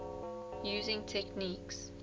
using techniques